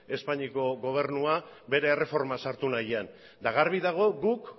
espainiako gobernua bere erreforman sartu nahian eta garbi dago guk